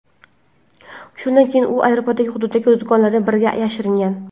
Shundan keyin u aeroport hududidagi do‘konlardan biriga yashiringan.